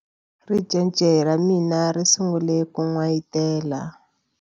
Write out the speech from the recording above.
Ricece ra mina ri sungule ku n'wayitela.